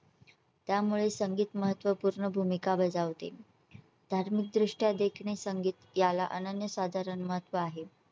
त्यामुळे संगीत महत्त्वपूर्ण भूमिका बजावते. धार्मिक दृष्ट्या देखील संगीत याला अनन्यसाधारण महत्त्व आहे.